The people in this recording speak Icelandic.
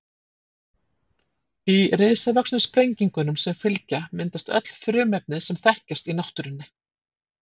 Í risavöxnu sprengingunum sem fylgja myndast öll frumefnin sem þekkjast í náttúrunni.